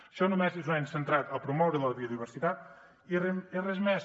això només ho hem centrat a promoure la biodiversitat i res més